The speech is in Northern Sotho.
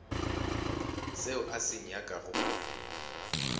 seo a se nyakago go